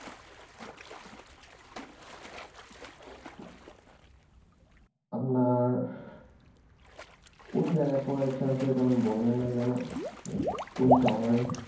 আপনার কোন জায়গায় পড়ার ইচ্ছা আছে তখন বললেন না যেন কোন শহরে